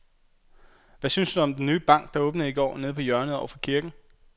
Hvad synes du om den nye bank, der åbnede i går dernede på hjørnet over for kirken?